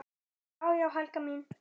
Já já, Helga mín.